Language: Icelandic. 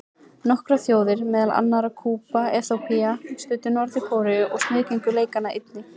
Nokkrar þjóðir, meðal annarra Kúba og Eþíópía, studdu Norður-Kóreu og sniðgengu leikana einnig.